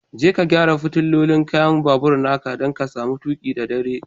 Je ka gyara fitilolin kai'n babur'n ka, dan ka samu tuki da dare.